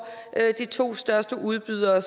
at de to største udbydere